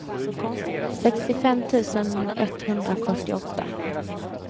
sextiofem tusen etthundrafyrtioåtta